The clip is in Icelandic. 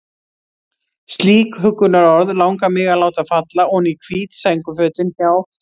Slík huggunarorð langar mig að láta falla oní hvít sængurfötin hjá